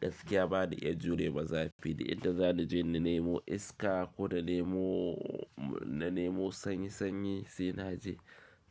Gaskiya ba ni iya jure ma zafi da inda za ni je na nemo iska ko na nemo, na nemo sanyi sanyi sai na je.